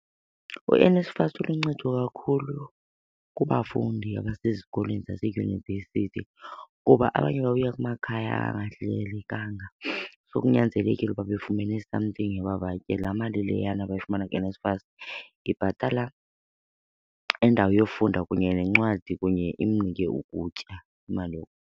UNSFAS uluncedo kakhulu kubafundi abasezikolweni zaseyunivesithi kuba abanye babuya kumakhaya angahlelelekanga, so kunyanzelekile uba befumene something yoba batye. Laa mali leyana bayifumana kuNSFAS ibhatala indawo yofunda kunye neencwadi kunye imnike ukutya, imali .